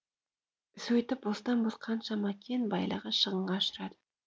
сөйтіп бостан бос қаншама кен байлығы шығынға ұшырайды